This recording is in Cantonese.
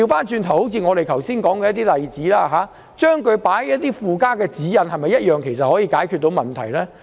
就像我剛才所舉的例子，將定義納入附加的指引，是否同樣可解決問題？